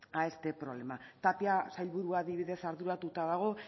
a este problema tapia sailburua adibidez arduratuta dago